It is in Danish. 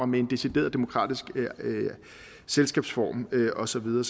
med en decideret demokratisk selskabsform og så videre